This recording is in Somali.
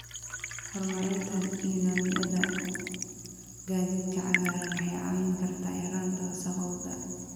Hormarinta nidaamyada gaadiidka cagaaran waxay caawin kartaa yareynta wasakhowga.